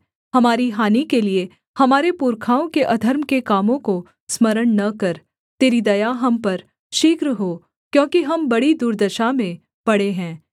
हमारी हानि के लिये हमारे पुरखाओं के अधर्म के कामों को स्मरण न कर तेरी दया हम पर शीघ्र हो क्योंकि हम बड़ी दुर्दशा में पड़े हैं